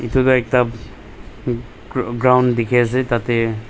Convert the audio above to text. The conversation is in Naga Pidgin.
Etu tuh ekta gra ground dekhe ase tatey.